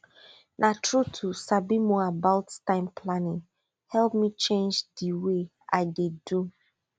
na true to sabi more about time planning help me change di way i dey do